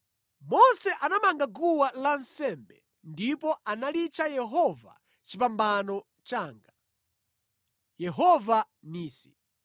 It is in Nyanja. Mose anamanga guwa lansembe ndipo analitcha Yehova Chipambano Changa (Yehova Nisi).